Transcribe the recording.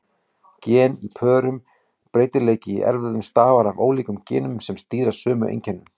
Gen eru í pörum: Breytileiki í erfðum stafar af ólíkum genum sem stýra sömu einkennum.